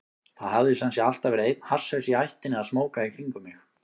Það hafði sem sé alltaf verið einn hasshaus í ættinni að smóka í kringum mig.